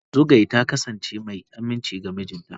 Zugwai ta kasance mai aminci ga mijinta.